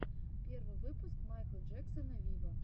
первый выпуск майкла джексона виво